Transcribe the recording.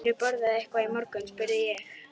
Hefurðu borðað eitthvað í morgun? spurði ég.